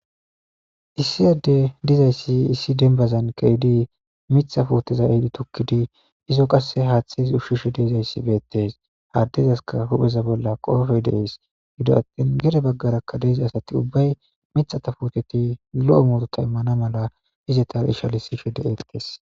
issi adde dizayssi issi denbazan keidi mitha puoteza eidi tukkidi izo qasse haaththesi ushshishe deezayssi beettes haaddezaska hupheza bolla qoofe dees gido attin gere baggarakka deeza asati ubbay mithata fuoteti lo7o murota immana mala ize tal ishalissishe de eettees